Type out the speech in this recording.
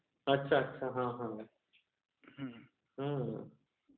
अच्छा अच्छा ..हा हा..हम्म्म